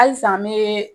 Halisa n bɛ